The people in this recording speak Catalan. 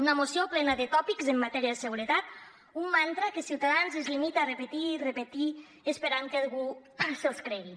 una moció plena de tòpics en matèria de seguretat un mantra que ciutadans es limita a repetir i repetir esperant que algú se’ls cregui